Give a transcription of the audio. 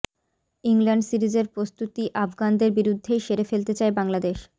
England সিরিজের প্রস্তুতি আফগানদের বিরুদ্ধেই সেরে ফেলতে চায় বাংলাদেশ